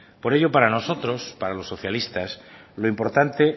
por ello para nosotros para los socialistas lo importante